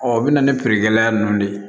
Ɔ o bɛna ni feerekɛla nunnu de ye